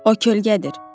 O kölgədir.